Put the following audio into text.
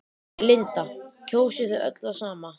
Linda: Kjósið þið öll það sama?